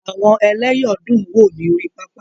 Àwọn ẹlẹ́yọ̀ dun wo ni ori papa.